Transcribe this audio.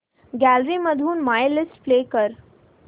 gallery मधून my list play कर